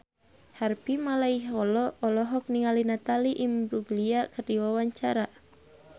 Harvey Malaiholo olohok ningali Natalie Imbruglia keur diwawancara